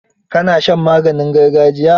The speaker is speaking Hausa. Ka na shan maganin gargajiya?